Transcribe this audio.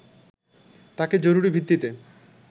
তাকে জরুরি ভিত্তিতে